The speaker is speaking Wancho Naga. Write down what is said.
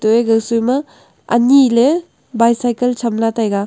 toI gaga soI ma anyI le bike cycle chamla taiga.